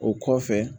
O kɔfɛ